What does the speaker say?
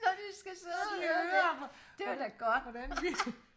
når de skal sidde og høre det var da godt